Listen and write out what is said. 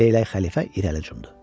Leylək xəlifə irəli cumdu.